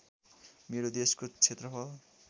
मेरो देशको क्षेत्रफल